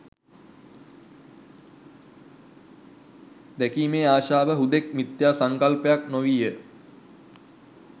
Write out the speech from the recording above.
දැකීමේ ආශාව හුදෙක් මිත්‍යා සංකල්පයක් නො වීය